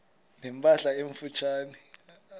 ne mpahla emfutshane